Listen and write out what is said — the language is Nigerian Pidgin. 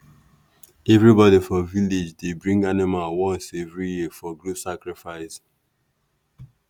everybody for village dey bring animal once every year for group sacrifice.